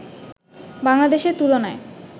বাংলাদেশের তুলনায়